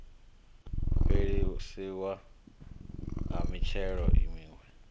fhelisiwa ha mithelo miwe ye